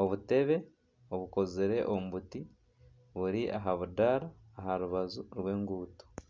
obutebe obukozire omu biti buri aha budaara aha rubaju rw'enguuto